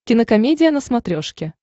кинокомедия на смотрешке